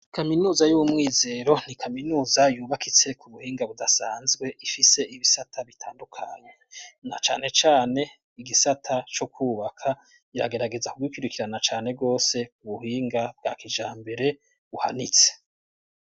Kaminuza y'uwumwizero ni kaminuza yubakitse ku buhinga budasanzwe ifise ibisata bitandukanya, na cane cane igisata co kwubaka yagerageza kugikurikirana cane gose ku buhinga bwa kijambere buhanitse.